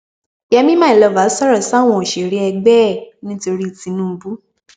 yẹmi mylover sọrọ sáwọn òṣèré ẹgbẹ ẹ nítorí tinubu